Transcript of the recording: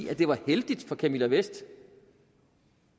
at det var heldigt for camilla vest